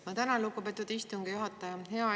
Ma tänan, lugupeetud istungi juhataja!